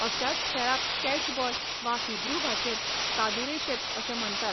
अशाच खेळाक कॅचबॉल वा हिब्रू भाशेंत कादुरेशेत अशें म्हण्टात.